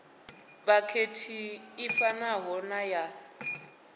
vhakhethi i fanaho na ya